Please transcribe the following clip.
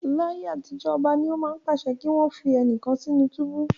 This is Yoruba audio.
Ní ayé àtijó, ọba ni ó máa ń pàṣẹ kí wọn fi ẹnìkan sí inú túbú.